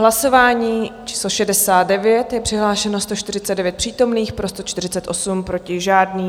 Hlasování číslo 69, je přihlášeno 149 přítomných, pro 148, proti žádný.